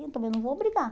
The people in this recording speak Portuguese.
Eu também não vou brigar.